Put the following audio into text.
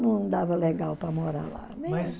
Não dava legal para morar lá. Mas